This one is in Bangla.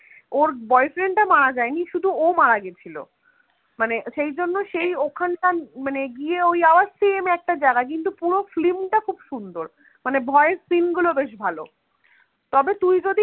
ওর boy friend টা মারা যায়নি শুধু ও মারা গেছিল, মানে সেই জন্য সেই ওখানকার গিয়ে ওই আবার same একটা জায়গা কিন্তু পুরো film টা খুব সুন্দর মানে ভয়ের scene গুলো বেশ ভালো তবে তুই যদি